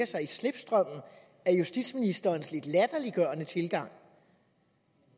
sig i slipstrømmen af justitsministerens lidt latterliggørende tilgang